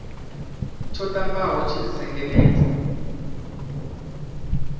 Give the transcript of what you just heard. tsho ṱambaho tshi ri sengenedza